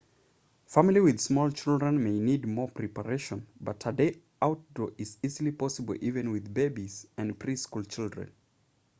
families with small children may need more preparations but a day outdoors is easily possible even with babies and pre-school children